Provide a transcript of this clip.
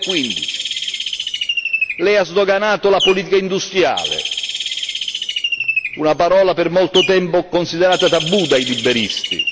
2015. Lei ha sdoganato la politica industriale, una parola per molto tempo considerata tabù dai liberisti.